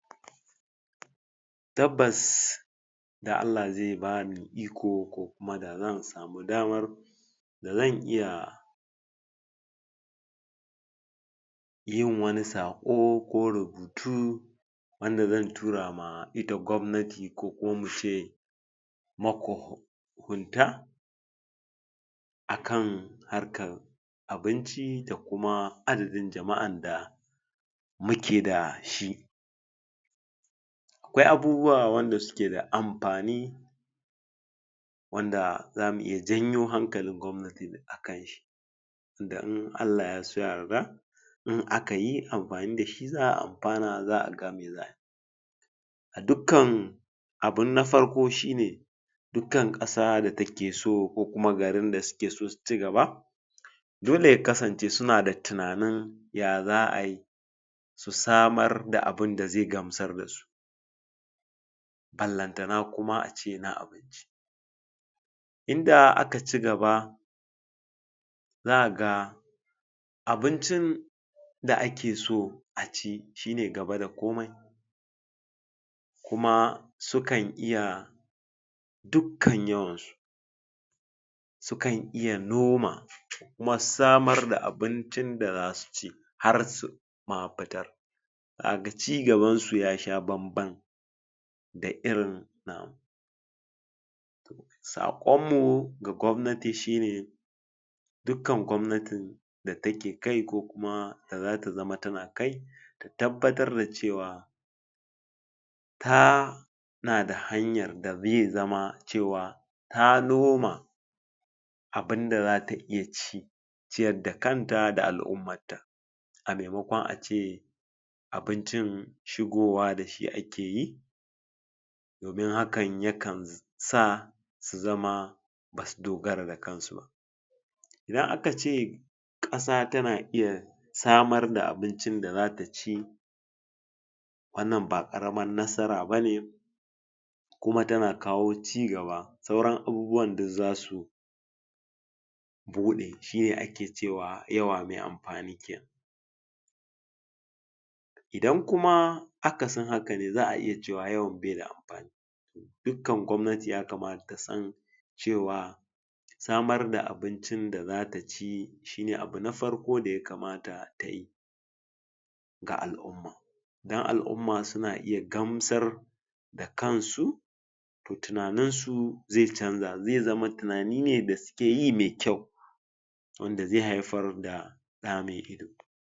to wannan rubutu yana so ya sanar ko yaji cewa ya kuke kula da gida jen ku to ta hanyar da muke kula da gidajen mu shine na farko mu tashi da safe muna share share masu wanke wanke suyi masu goge goge suyi mu goge dinning tebir muyi mopping mu goge irin su ɓangaren su talabijin da sauransu dai da sauransu ɗan yana yana da suke saman gurin celling mu tabbata mun samu tsnitsiya mun gyaggyara su muna rufa tagogi irin koda ana irin wani iska ko ƙura inda baza su samu daman shigo mana ba mu futa in akwai irin bola haka ma kusa damu mu ɗauka muje mu zubar dashi in na irin manya manyan ne a daina irin yawan tara shirgi da mutum ya ci abinci ko yaci wani abu de wanda dai aka ɓata farantin cin abincin ko kuma koda yaci da ƙoshiya ne to ya tabbata in ya gama yaje ya samu ruwa da ko sabulu ne ko abu an wanke wannan dan duk dai a zauna da cikin gida yazama kullum gida yana cikin ƙalƙal ba kullum gida da shirgi ba kaga anci abinci an zubar dashi nan an zubar da ruwa ba'a goge ba wannan yayi goga yabar kaya a gurin wannan yazo yayi kaza ya barshi agun to duk dai haka haka ta hanyotin zamu fi gyara gidajan mu su zamana kullum cikin cikakken tsafta shine duk abun da muka ci mu tabbata muna yawan share gidan mu muna yawan goge goge muna yawan duba wajajan yana mu tabbata muna goge gurin yana yanu mun koyi irin wani guri da yake zuba haka a gidan ku irin ana ruwa a tabbata an kira wani dan yazo ya gyara